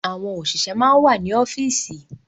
Àwọn òṣìṣẹ́ máa wà ní ọ́fíìsì.